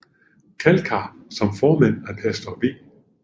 Kalkar som formand af pastor V